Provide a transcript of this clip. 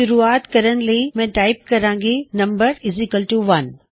ਸ਼ੁਰਆਤ ਕਰਨ ਲਈ ਮੈਂ ਟਾਇਪ ਕਰਾਂਗਾ num1